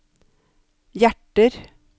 hjerter